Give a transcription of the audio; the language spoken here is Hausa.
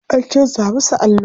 An canza musu allo.